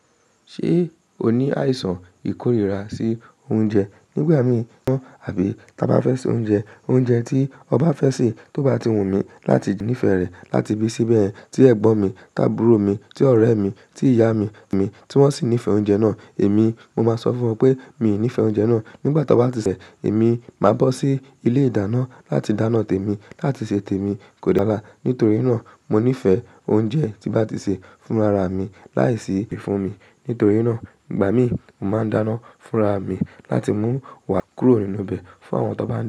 Ṣé o ní àìsàn ìkórìíra sí oúnjẹ? Nígbà mí mọ̀ àbí ta bá fẹ́ ṣe oúnjẹ, oúnjẹ tí ọba fẹ́ sè, tó bá ti wù mí láti nífẹ̀ẹ́ rẹ̀, láti ibí síbẹ̀yen tí ẹ̀gbọ́n mi, tábúrò mi, tí ọ̀rẹ́ mi, tí ìyámi mi, tí wọ́n sì nífẹ̀ẹ́ oúnjẹ náà, èmi mo máa sọ fún ọ pé mi ò nífẹ̀ẹ́ oúnjẹ náà. Nígbà tí a bá ti ṣè, èmi máa bọ́ sí ilé-ìdáná láti dáná tèmi láti ṣe tèmi kódàra Nítorí náà, mo nífẹ̀ẹ́ oúnjẹ tí n bá ti ṣe fúnra ra mi láìsí ìfúnmi. Nítorí náà, ìgbà mí, mo máa ń dáná fúnra mi láti mú wá kúrò nínú ibẹ̀ fún àwọn tó bá ní.